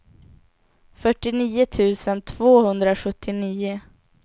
fyrtionio tusen tvåhundrasjuttionio